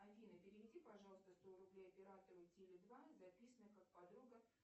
афина переведи пожалуйста сто рублей оператору теле два записана как подруга